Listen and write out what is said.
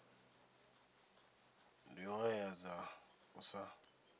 ndi hoea dza u sa